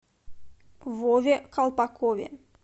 вове колпакове